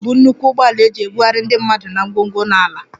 Bus bụ nnukwu ụgbọala eji ebugharị ndị mmadụ na ngwongwo na ala